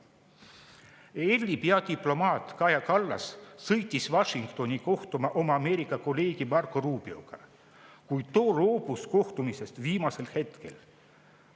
EL-i peadiplomaat Kaja Kallas sõitis Washingtoni kohtuma oma Ameerika kolleegi Marco Rubioga, kuid too loobus kohtumisest viimasel hetkel.